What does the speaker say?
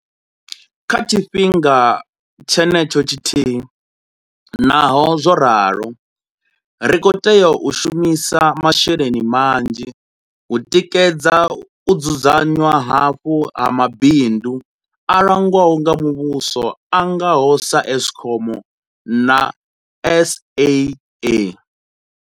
Kha tshifhinga tshenetsho tshithihi, naho zwo ralo, ri khou tea u shumisa masheleni manzhi u tikedza u dzudzanywa hafhu ha mabindu a langwaho nga muvhuso a nga ho sa Eskom na SAA.